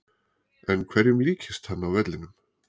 En hverjum líkist hann á vellinum?